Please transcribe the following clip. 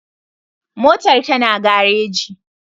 Motar ta na gareji